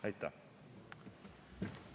Aitäh!